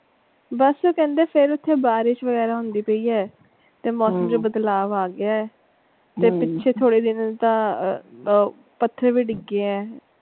ਬਸ ਕਹਿੰਦੇ ਪਏ ਆ ਉਥੇ ਬਾਰਿਸ਼ ਵਗੈਰਾ ਹੁੰਦੀ ਪਈ ਆ ਤੇ ਮੌਸਮ ਚ ਬਦਲਾਵ ਆ ਗਿਆ ਹੈ ਤੇ ਪਿੱਛੇ ਥੋੜੇ ਜੇ ਦਿਨ ਤਾਂ ਆਹ ਪੱਥਰ ਵੀ ਡਿੱਗੇ ਆ।